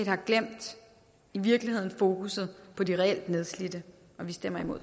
i virkeligheden fokusset på de reelt nedslidte og vi stemmer imod